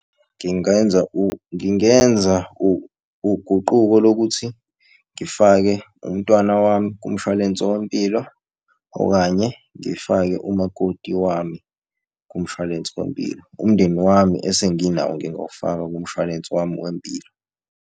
Ngingeza ngingeza uguquko lokuthi ngifake umntwana wami kumshwalensi wempilo, okanye ngifake umakoti wami kumshwalensi wempilo. Umndeni wami esenginawo ngingawufaka kumshwalensi wami wempilo.